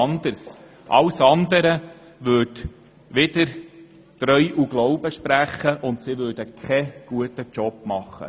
Alles andere würde gegen Treu und Glauben sprechen und bedeuten, dass die Geschäftsleitung keine gute Arbeit leistet.